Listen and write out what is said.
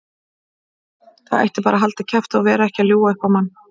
Það ætti bara að halda kjafti og vera ekki að ljúga upp á mann.